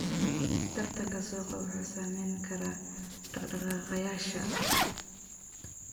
Tartanka suuqa wuxuu saameyn karaa dhaq-dhaqaaqayaasha.